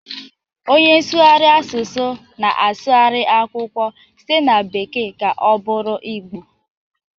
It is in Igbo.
Onye nsụgharị asụsụ na-asụgharị akwụkwọ site na bekee ka ọ bụrụ Igbo.